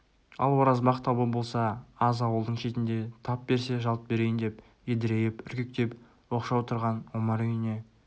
ал оразбақ тобы болса аз ауылдың шетінде тап берсе жалт берейін деп едірейіп үркектеп оқшау тұрған омар үйіне